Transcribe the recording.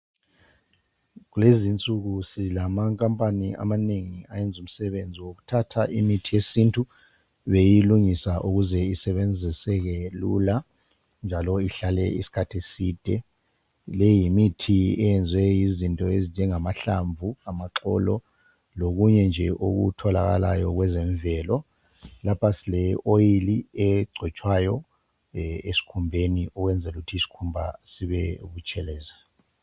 Kulezinsuku silamankampani amanengi ayenza umsebenzi wokuthatha imithi yesintu beyilungisa ukuze isebenziseke lula njalo ihlale isikhathi eside. Leyi yimithi eyenziwe yizinto ezinjengamahlamvu, amaxolo lokunye nje okutholakayo kwezemvelo. Lapha sile oyili egcotshwayo esikhumbeni ukwenzela ukuthi isikhumba sibebutshelezi.